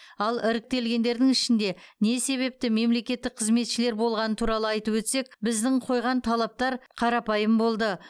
ал іріктелгендердің ішінде не себепті мемлекеттік қызметшілер болғаны туралы айтып өтсек біздің қойған талаптар қарапайым болды